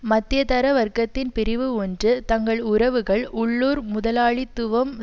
மத்தியதர வர்க்கத்தின் பிரிவு ஒன்று தங்கள் உறவுகள் உள்ளூர் முதலாளித்துவம்